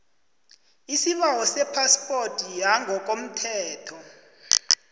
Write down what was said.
isibawo sephaspoti yangokomthetho